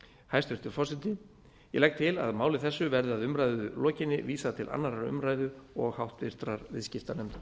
hæstvirtur forseti ég legg til að máli þessu verði að umræðu lokinni vísað til annarrar umræðu og háttvirtur viðskiptanefndar